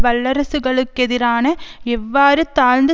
வல்லரசுகளுக்கெதிரான எவ்வாறு தாழ்ந்து